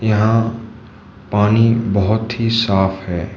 यहां पानी बहुत ही साफ है।